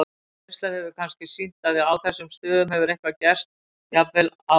Reynslan hefur kannski sýnt að á þessum stöðum hefur eitthvað gerst, jafnvel á öldum áður.